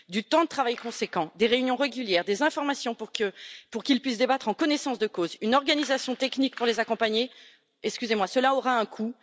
Du temps de travail conséquent, des réunions régulières, des informations pour qu'ils puissent débattre en connaissance de cause, une organisation technique pour les accompagner, cela aura un coût.